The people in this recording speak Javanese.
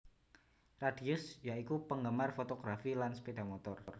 Radius ya iku penggemar fotografi lan sepeda motor